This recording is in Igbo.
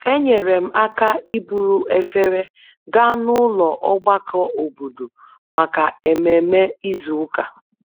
Enyere m aka iburu efere gaa n'ụlọ ogbako obodo maka ememe izu ụka